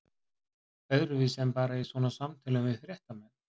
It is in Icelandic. Öðruvísi en bara í svona samtölum við fréttamenn?